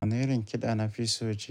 Wani irin kiɗa na fiso J.